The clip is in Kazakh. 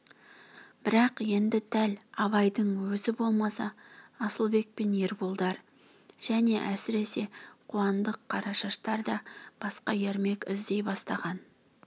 бірақ енді дәл абайдың өзі болмаса асылбек пен ерболдар және әсіресе қуандық қарашаштар да басқа ермек іздей бастаған